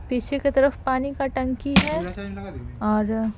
पीछे की तरफ पानी का टंकी है और--